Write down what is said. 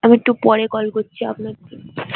আমি একটু পরে call করছি আপনাকে